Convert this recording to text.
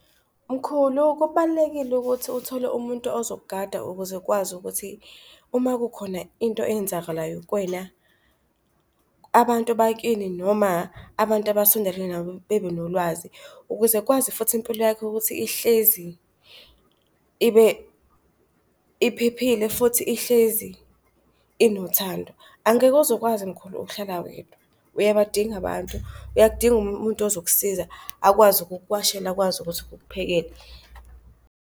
Mkhulu, kubalulekile ukuthi uthole umuntu ozokugada ukuze ukwazi ukuthi uma kukhona into eyenzakalayo kwena, abantu bakini noma abantu abasondelene nawe bebenolwazi. Ukuze kwazi futhi impilo yakhe ukuthi ihlezi ibe, iphephile futhi ihlezi enothando, angeke uze ukwazi mkhulu ukhlala wedwa uyabadinga abantu, uyakdinga amuntu ozokusiza akwazi ukukuwashela akwazi ukuthi ukuphekela.